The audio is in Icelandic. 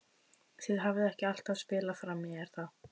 Þið hafið ekki alltaf spilað frammi er það?